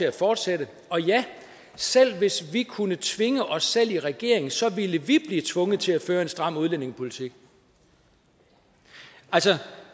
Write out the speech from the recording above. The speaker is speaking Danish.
at fortsætte og ja selv hvis vi kunne tvinge os selv i regering så ville vi blive tvunget til at føre en stram udlændingepolitik altså